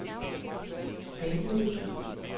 Dalmose